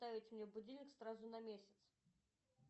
поставить мне будильник сразу на месяц